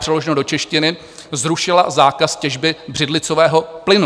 Přeloženo do češtiny, zrušila zákaz těžby břidlicového plynu.